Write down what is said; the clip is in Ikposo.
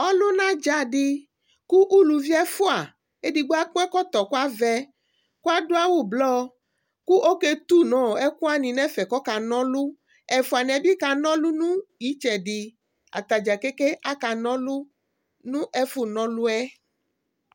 Ɔluna dza di kʋ ʋlʋvi ɛfʋa Ɛdigbo akɔ ɛkɔtɔ kʋ la vɛ kʋ adʋ awu blɔ kʋ ɔke tu nʋ ɛkʋ wani nʋ ɛfɛ kʋ ɔka na ɔlu Ɛfʋaniɛ bi ka na ɔlu yɛ nʋ itsɛdi Atadza ke ke ka na ɔlu nʋ ɛfʋ na ɔlu yɛ